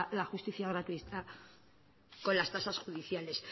la justicia gratuita con las tasas judiciales